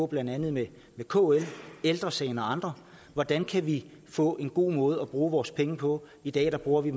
blandt andet kl ældre sagen og andre hvordan kan vi få en god måde at bruge vores penge på i dag bruger vi